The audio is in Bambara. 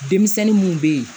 Denmisɛnnin mun be yen